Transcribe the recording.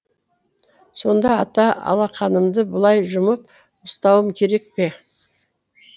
сонда ата алақанымды былай жұмып ұстауым керек пе